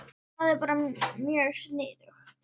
Þetta er bara mjög sniðugt